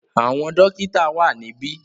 Àwọn dọ́kítá wà níbí.